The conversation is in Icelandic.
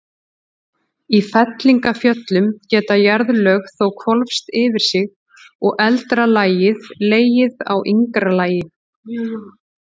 Í fellingafjöllum geta jarðlög þó hvolfst yfir sig og eldra lagið legið á yngra lagi.